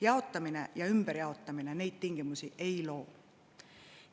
Jaotamine ja ümberjaotamine neid tingimusi ei loo.